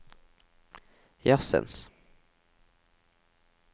jazzens